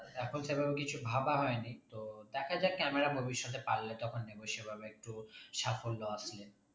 এখন সেভাবে কিছু ভাবা হয়নি তো দেখা যাক camera ভবিষৎতে পারলে তখন নেবো সেভাবে একটু সাফল্য আসলে